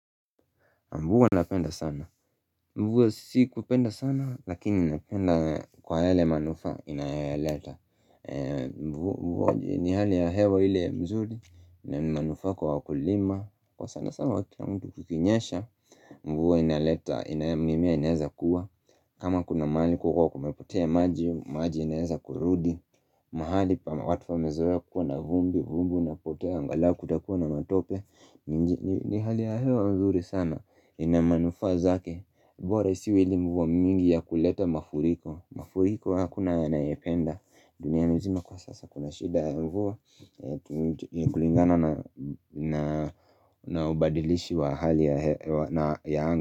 Mvua napenda sana. Mvua si kupenda sana, lakini napenda kwa yale manufaa inayoyaleta. Mvua ni hali ya hewa ile mzuri na manufaa kwa wakulima. Kwa sana sana wa kila mtu kukinyesha, mvua inaleta, ina nayo mimea inaweza kuwa. Kama kuna mahali kulikua kumepotea maji, maji inaweza kurudi. Mahali pa watu wamezoea kukua na vumbi, vumbi, unapotea, angalau kutakuwa na matope. Ni hali ya hewa nzuri sana. Ina manufaa zake bora isiwe ile mvua mingi ya kuleta mafuriko mafuriko hakuna anayependa dunia nzima kwa sasa kuna shida ya mvua kulingana na ubadilishi wa hali ya anga.